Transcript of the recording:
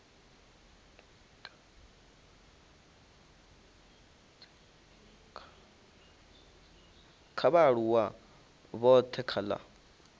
kha vhaaluwa vhothe kha la